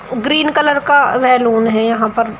Green colour का balloon है यहां पर।